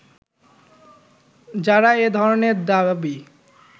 যারা এ ধরনের দাবী